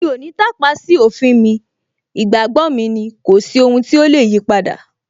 Mi ò ní tàpá sí òfin mi, ìgbàgbọ́ mi ni, kò sí ohun tí ó lè yipadà